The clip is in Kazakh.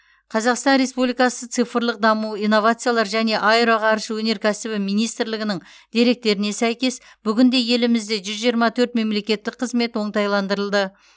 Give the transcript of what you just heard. қазақстан республикасы цифрлық даму инновациялар және аэроғарыш өнеркәсібі министрлігінің деректеріне сәйкес бүгінде елімізде жүз жиырма төрт мемлекеттік қызмет оңтайландырылды